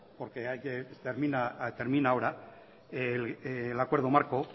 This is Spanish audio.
porque termina ahora el acuerdo marco